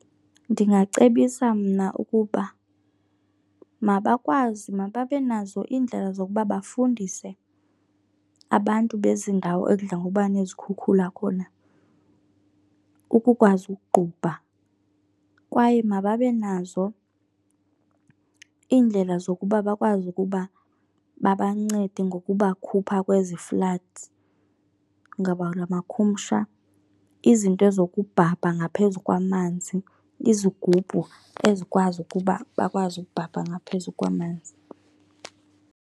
Ndingacebisa mna ukuba mabakwazi, mababe nazo iindlela zokuba bafundise abantu bezi ndawo ekudla ngokuba nezikhukhula khona ukukwazi ukuqubha. Kwaye mababe nazo iindlela zokuba bakwazi ukuba babancede ngokubakhupha kwezi floods ngabula makhumsha. Izinto zokubhabha ngaphezu kwamanzi, izigubhu ezikwazi ukuba bakwazi ukubhabha ngaphezu kwamanzi.